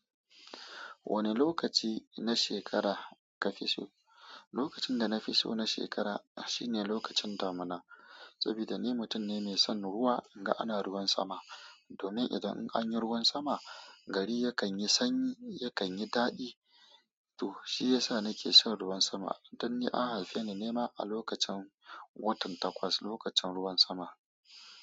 Wane lokaci na shekara ka fi so? Lokacin da na fi so na shekara shine lokacin damuna, saboda ni mutum ne mai son ruwa, in ga ana ruwan sama. Domin idan an yi ruwan sama, gari yakan yi sanyi, yakan yi daɗi, to shi yasa na ke son ruwan sama. Dan ni an haife ni nema a lokacin watan Takwas, lokacin ruwan sama.